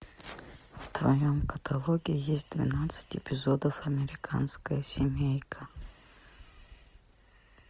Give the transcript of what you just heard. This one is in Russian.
в твоем каталоге есть двенадцать эпизодов американская семейка